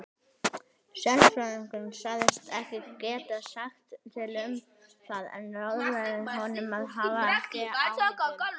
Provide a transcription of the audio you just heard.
Sérfræðingurinn sagðist ekki geta sagt til um það en ráðlagði honum að hafa ekki áhyggjur.